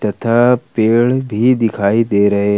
तथा पेड़ भी दिखाई दे रहे है।